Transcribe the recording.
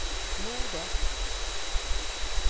mordet